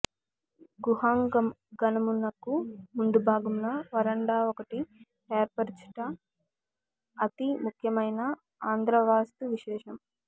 గుహాంగణమునకు ముందు భాగమున వరాండా ఒకటి ఏర్పరచుట అతి ముఖ్యమయిన ఆంధ్రవాస్తువిశేషము